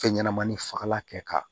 Fɛn ɲɛnɛmani fagalan kɛ ka